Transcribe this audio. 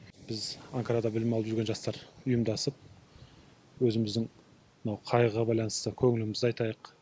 біз анкарада білім алып жүрген жастар ұйымдасып өзіміздің мынау қайғыға байланысты көңілімізді айтайық